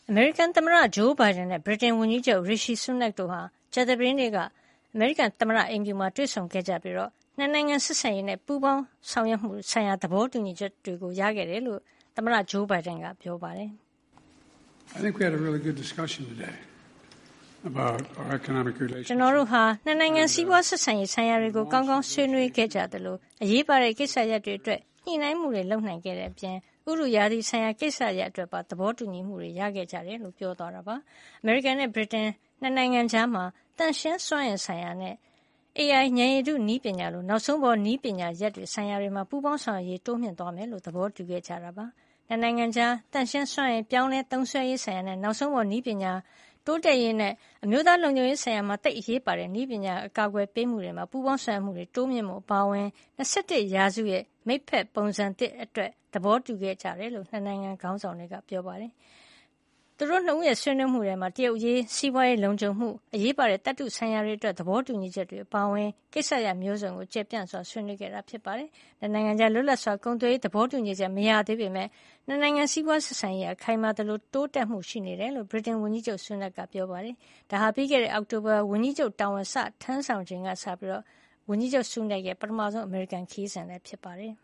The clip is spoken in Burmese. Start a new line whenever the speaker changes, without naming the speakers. အမေရိကန်သမ္မတ ဂျိုးဘိုင်ဒန်နဲ့ ဗြိတိန်ဝန်ကြီးချုပ် Rishi Sunak တို့ဟာ ကြာသပတေးနေ့က သမ္မတအိမ်ဖြူတော်မှာ တွေ့ဆုံခဲ့ကြပြီး ၂ နိုင်ငံ ဆက်ဆံရေးနဲ့ ပူးပေါင်းဆောင်ရွက်မှုဆိုင်ရာ သဘောတူညီချက်တွေ ရခဲ့တယ်လို့ သမ္မတ ဂျိုးဘိုင်ဒန်က ပြောပါတယ်။ "ကျနော်တို့ဟာ ၂ နိုင်ငံ စီးပွားဆက်ဆံရေးဆိုင်ရာတွေကို ကောင်းကောင်း ဆွေးနွေးခဲ့ကြသလို၊ အရေးပါတဲ့ ကိစ္စရပ်တွေအတွက် ညှိနှိုင်းမှုတွေ လုပ်နိုင်တဲ့အပြင် ဥတုရာသီဆိုင်ရာ ကိစ္စရပ်အတွက်ပါ သဘောတူညီမှု ရခဲ့ကြပါတယ်" လို့ ပြောပါတယ်။ အမေရိကန်နဲ့ ဗြိတိန် ၂ နိုင်ငံကြား သန့်ရှင်းစွမ်းအင်ဆိုင်ရာနဲ့ AI ဉာဏ်ရည်တု နည်းပညာလို နောက်ဆုံးပေါ်နည်းပညာရပ်ဆိုင်ရာတွေမှာ ပူးပေါင်း ဆောင်ရွက်ရေးကို တိုးမြှင့်သွားမှာ ဖြစ်ကြောင်း သဘောတူခဲ့ကြတာပါ။ ၂ နိုင်ငံကြား သန့်ရှင်းစွမ်းအင် ပြောင်းလဲသုံးစွဲရေး ဆိုင်ရာနဲ့ နောက်ဆုံးပေါ် နည်းပညာ တိုးတက်ရေး ၊ အမျိုးသားလုံခြုံရေး ကိစ္စရပ်တွေမှာ သိပ်အရေးပါတဲ့ နည်းပညာ အကာကွယ်ပေးမှုကဏ္ဍကို ပူးပေါင်းဆောင်ရွက်မှု တိုးမြှုင့်ဖို့ အပါအဝင် ၂၁ ရာစုရဲ့ မိတ်ဖက်ပုံစံသစ်အတွက် သဘောတူခဲ့ကြတယ်လို့ ခေါင်းဆောင် ၂ ဦးစလုံးက ပြောပါတယ်။ ခေါင်းဆောင် ၂ ဦးရဲ့ ဆွေးနွေးမှုတွေထဲမှာ တရုတ်အရေး၊ စီးပွားရေး လုံခြုံမှု၊ အရေးပါတဲ့ သတ္တုဆိုင်ရာတွေအတွက် သဘောတူညီချက်တွေ အပါအဝင် ကိစ္စရပ် မျိုးစုံကို ကျယ်ပြန့်စွာဆွေးနွေးခဲ့တာဖြစ်ပါတယ်။ ၂ နိုင်ငံကြား လွတ်လပ်စွာ ကုန်သွယ်ရေး သဘောတူညီချက် မရသေးပေမယ့် အမေရိကန်- ဗြိတိန် ၂ နိုင်ငံ စီးပွားဆက်ဆံရေးဟာ ခိုင်မာသလို တိုးတက်မှု ရှိနေတယ်လို့ ဗြိတိန်ဝန်ကြီးချုပ် Sunak က ပြောပါတယ်။ ဒါဟာ ပြီးခဲ့တဲ့ အောက်တိုဘာမှာ ဝန်ကြီးချုပ်တာဝန် စတင်ထမ်းဆောင်ခဲ့တဲ့ Sunak ရဲ့ ပထမဆုံးေသာ အမေရိကန်ခရီးစဉ်လည်း ဖြစ်ပါတယ်